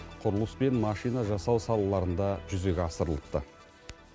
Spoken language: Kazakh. құрылыс пен машина жасау салаларында жүзеге асырылыпты